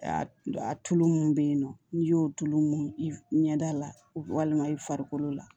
A tulu min bɛ yen nɔ n'i y'o tulu mun i ɲɛ da la walima i farikolo la